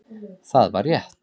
Það var rétt